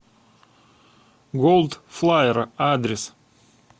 голдфлаер адрес